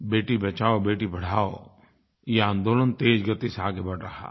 बेटी बचाओबेटी पढ़ाओ ये आन्दोलन तेज़ गति से आगे बढ़ रहा है